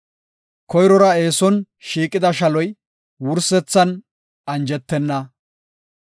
Koyrora eeson shiiqida shaloy wursethan anjetenna.